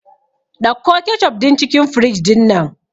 Ɗauko kecof din cikin fridge dinnan